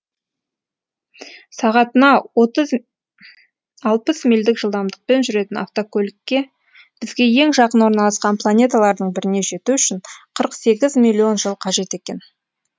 сағатына алпыс мильдік жылдамдықпен жүретін автокөлікке бізге ең жақын орналасқан планеталардың біріне жету үшін қырық сегіз миллион жыл қажет екен